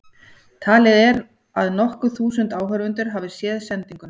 Talið er að nokkur þúsund áhorfendur hafi séð sendinguna.